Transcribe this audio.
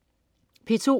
P2: